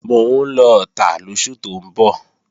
Mò ń lọ Ọ̀tà lóṣù tó ń bọ̀